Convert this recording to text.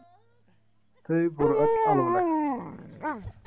Þau voru öll alvarleg.